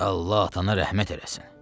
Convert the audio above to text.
Allah atana rəhmət eləsin.